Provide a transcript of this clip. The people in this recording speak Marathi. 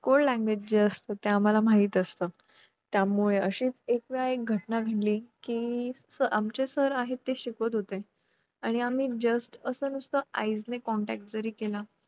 code language जे असत ते आम्हाला माहित असत त्यामुळे अशीच एकवेळा घटना घडली कि आमचे sir आहेत ते शिकवत होते आणि आम्ही just असं नुसतं eyes contact जरी केला